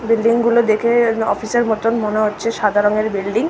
Building -গুলো দেখে-এন office -এর মতন মনে হচ্ছে সাদা রং এর বিল্ডিং ।